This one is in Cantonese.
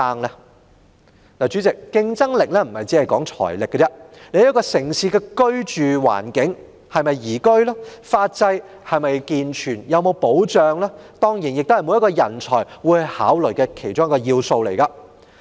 代理主席，競爭力不只看財力，一個城市的居住環境是否舒適、法制是否健全、具保障，也是每位人才會考慮的因素。